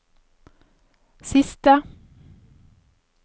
siste